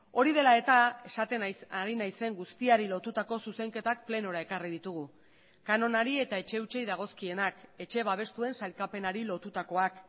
hori dela eta esaten ari naizen guztiari lotutako zuzenketak plenora ekarri ditugu kanonari eta etxe hutsei dagozkienak etxe babestuen sailkapenari lotutakoak